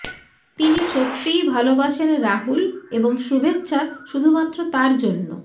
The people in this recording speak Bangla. তিনি সত্যিই ভালবাসেন রাহুল এবং শুভেচ্ছা শুধুমাত্র তার জন্য